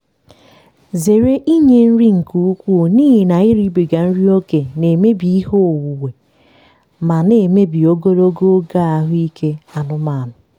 zere inye nri nke ukwuu n'ihi na iribiga nri ókè na-emebi ihe onwunwe ma na-emebi ogologo oge ahụ ike anụmanụ.